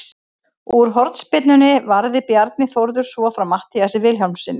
Úr hornspyrnunni varði Bjarni Þórður svo frá Matthíasi Vilhjálmssyni.